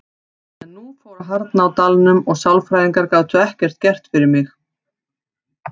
En nú fór að harðna á dalnum og sálfræðingar gátu ekkert gert fyrir mig.